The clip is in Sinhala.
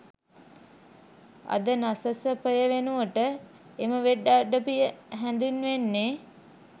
අද නසසපය වෙනුවට එම වෙබ් අඩවිය හැදින්වෙන්නේ